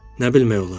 Nə bilmək olar?